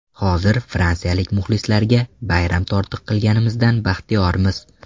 Hozir fransiyalik muxlislariga bayram tortiq qilganimizdan baxtiyormiz.